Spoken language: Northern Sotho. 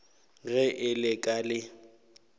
ge e le ka le